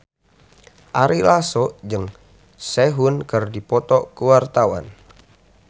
Ari Lasso jeung Sehun keur dipoto ku wartawan